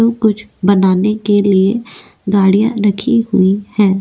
जो कुछ बनाने के लिए गाड़ियां रखी हुई है।